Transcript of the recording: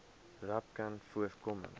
rapcanvoorkoming